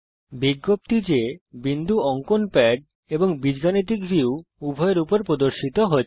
বিজ্ঞপ্তি যে বিন্দু অঙ্কন প্যাড এবং বীজগণিত এলজেব্রা ভিউ উভযের উপর প্রদর্শিত হচ্ছে